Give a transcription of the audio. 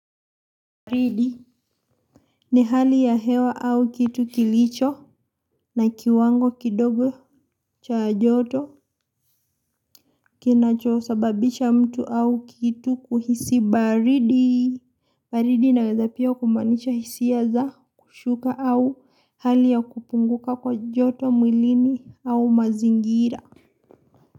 Baridi ni hali ya hewa au kitu kilicho na kiwango kidogo cha joto kina choosababisha mtu au kitu kuhisi baridi. Baridi naweza pia kumanisha hisia za kushuka au hali ya kupunguka kwa joto mwilini au mazingira.